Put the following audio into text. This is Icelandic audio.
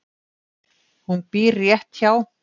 Hún býr rétt hjá.